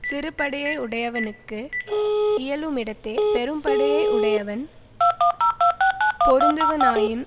சிறுபடையை யுடையவனுக்கு இயலுமிடத்தே பெரும்படையை யுடையவன் பொருந்துவனாயின்